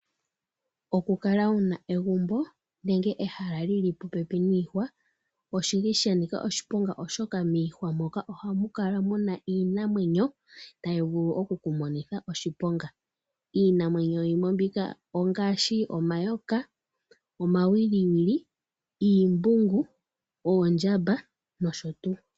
Okukala wuna egumbo nenge ehala li li popepi niihwa oshi li shanika oshiponga oshoka miihwa moka ohamu kala muna iinamwenyo tayi vulu okukumonitha oshiponga. Iinamwenyo yimwe mbika ongaashi omayoka, omawiliwili , ooshimbungu, oondjamba nosho tuu.